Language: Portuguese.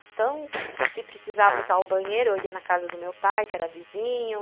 Então, se precisava usar o banheiro, eu ia na casa do meu pai, que era vizinho.